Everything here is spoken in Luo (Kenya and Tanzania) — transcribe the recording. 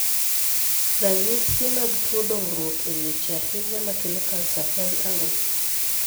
Ranyisi mag tuo dongruok e leche ahinya makelo kansa en ang'o?